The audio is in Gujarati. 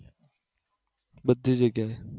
બધી જગ્યાએ